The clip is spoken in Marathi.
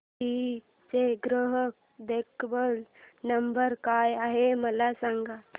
जीई चा ग्राहक देखभाल नंबर काय आहे मला सांग